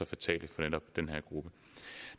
fatale for netop den her gruppe